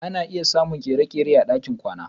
Ana iya samun ƙujera a dakin kwana.